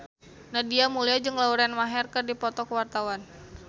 Nadia Mulya jeung Lauren Maher keur dipoto ku wartawan